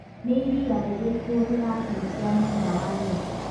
nĩ ĩrĩa rĩrĩkũ ĩrahutia mwena wa let